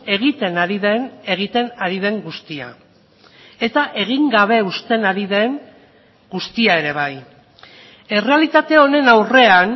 egiten ari den egiten ari den guztia eta egin gabe uzten ari den guztia ere bai errealitate honen aurrean